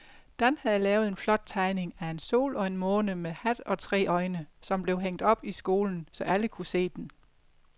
Dan havde lavet en flot tegning af en sol og en måne med hat og tre øjne, som blev hængt op i skolen, så alle kunne se den.